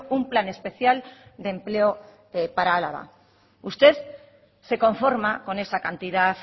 un plan especial de empleo para álava usted se conforma con esa cantidad